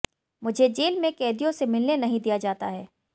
मुझे जेल में कैदियों से मिलने नहीं दिया जाता है